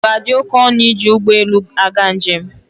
Ọ ga-adị oké ọnụ iji ụgbọ elu aga njem?